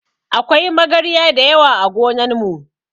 Akwai magarya dayawa ã gonan mu.